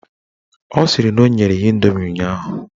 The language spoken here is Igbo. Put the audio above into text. Ọ sịrị na o nyere ya indomi ụnyaahụ